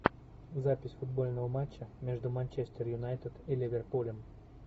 запись футбольного матча между манчестер юнайтед и ливерпулем